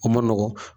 O ma nɔgɔn